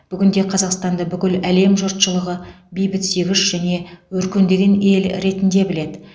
бүгінде қазақстанды бүкіл әлем жұртшылығы бейбітсүйгіш және өркөндеген ел ретінде біледі